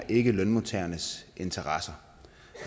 ikke lønmodtagernes interesser